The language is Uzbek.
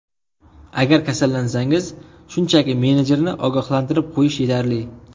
Agar kasallansangiz, shunchaki menejerni ogohlantirib qo‘yish yetarli.